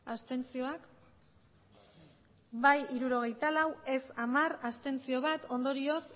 abstentzioak bai hirurogeita lau ez hamar abstentzioak bat ondorioz